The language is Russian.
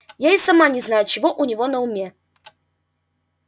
я и сама не знаю чего у него на уме